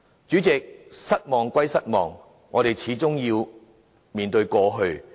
主席，失望歸失望，我們始終要面對過去。